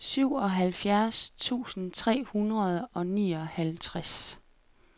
syvoghalvfjerds tusind tre hundrede og nioghalvtreds